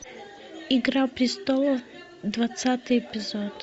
игра престолов двадцатый эпизод